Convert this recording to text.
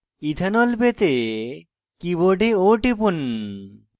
ethanol ethanol পেতে keyboard o টিপুন